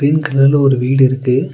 Green கலர்ல ஒரு வீடு இருக்கு.